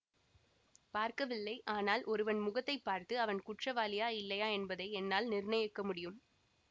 பார்க்கவில்லை ஆனால் ஒருவன் முகத்தை பார்த்து அவன் குற்றவாளியா இல்லையா என்பதை என்னால் நிர்ணயிக்க முடியும்